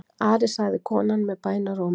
Ari, sagði konan með bænarrómi.